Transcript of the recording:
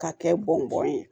K'a kɛ bɔn bɔn ye